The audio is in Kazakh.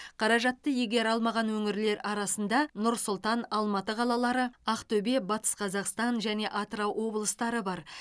қаражатты игере алмаған өңірлер арасында нұр сұлтан алматы қалалары ақтөбе батыс қазақстан және атырау облыстары бар